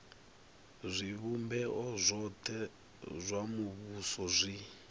zwivhumbeo zwothe zwa muvhuso zwi